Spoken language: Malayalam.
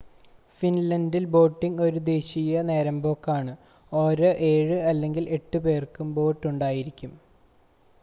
ഫിൻലൻഡിൽ ബോട്ടിംങ് ഒരു ദേശീയ നേരമ്പോക്ക് ആണ് ഓരോ ഏഴ് അല്ലെങ്കിൽ എട്ട് പേർക്കും ഒരു ബോട്ട് ഉണ്ടായിരിക്കും